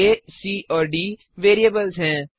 आ C और D variables हैं